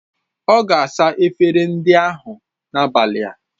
Ọ ga-asa efere ndị ahụ n'abalị a.